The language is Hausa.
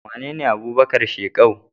Wanene Abubakar shekau?